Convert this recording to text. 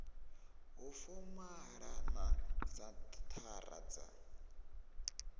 ha fomala na senthara dza